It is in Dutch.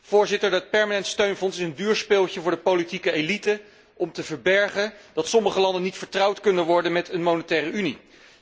Voorzitter, dat permanent steunfonds is een duur speeltje voor de politieke elite om te verbergen dat sommige landen niet vertrouwd kunnen worden in een Monetaire Unie.